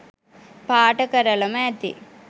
පාට කරලම ඇති